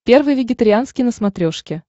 первый вегетарианский на смотрешке